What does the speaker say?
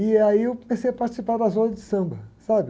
E aí eu comecei a participar das rodas de samba, sabe?